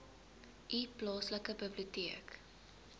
u plaaslike biblioteek